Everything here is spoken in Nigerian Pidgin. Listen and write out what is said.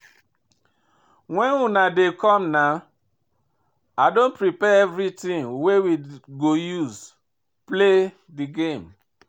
Wen una dey come na? I don prepare everything wey we go use play the game